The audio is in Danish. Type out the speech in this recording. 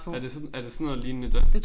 Er det sådan er det sådan noget lignende den?